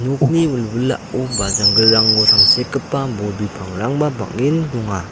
nokni wilwilao ba janggilrango tangsekgipa bol bipangrangba bang·en donga.